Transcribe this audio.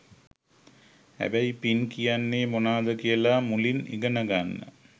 හැබැයි පින් කියන්නෙ මොනාද කියලා මුලින් ඉගෙන ගන්න.